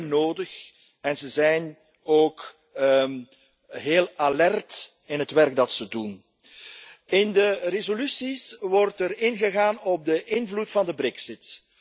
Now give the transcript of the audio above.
Ze zijn nodig en ze zijn ook heel alert in het werk dat ze doen. In de resoluties wordt ingegaan op de invloed van de brexit.